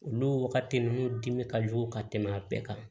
Olu wagati ninnu dimi ka jugu ka tɛmɛ a bɛɛ kan